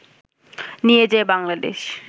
নিয়ে যায় বাংলাদেশ